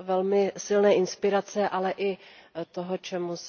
velmi silné inspirace, ale i toho, čemu se v angličtině říká a pro co nemám v češtině úplně dobré slovo.